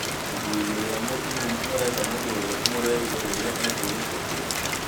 Mũthuri ũrĩa mũtumumu arenda mũndũ ũrĩa ũmũrehire rĩrĩa akũrĩte njĩra